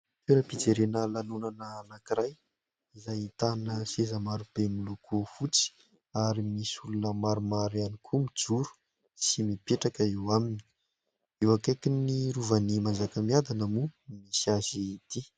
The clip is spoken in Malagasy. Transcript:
Toeram-pijerena lanonana anankiray izay ahitana seza maro be miloko fotsy ary misy olona maromaro ihany koa mijoro sy mipetraka eo aminy, eo akaikin'ny Rovan'ny Manjakamiadana moa no misy azy ity.